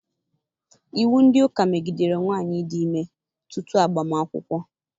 Iwu ndị ụka megidere nwaanyị ịdị ime tutu agbam akwụkwọ.